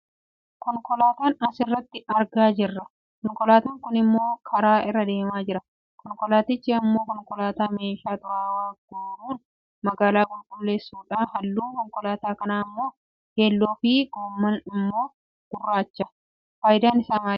Konkolaataan as irratti argaa jirra. Konkolaataan kun ammoo karaa irra deemaa jira. Konkolaatichi ammoo konkolaataa meeshaa xuraawaa guuruun magaalaa qulqulleessu dha. Halluun konkolaataa kanaa ammoo keelloofi gommaan ammoo gurraachadha. Fayidaan isaa maali?